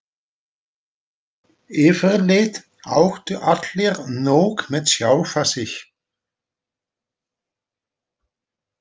Yfirleitt áttu allir nóg með sjálfa sig.